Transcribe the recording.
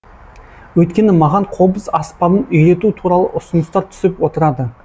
өйткені маған қобыз аспабын үйрету туралы ұсыныстар түсіп отырады